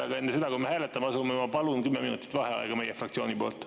Aga enne seda, kui me hääletama asume, ma palun 10 minutit vaheaega meie fraktsiooni poolt.